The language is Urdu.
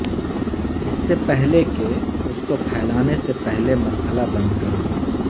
اس سے پہلے کہ اس کو پھیلانے سے پہلے مسئلہ بند کرو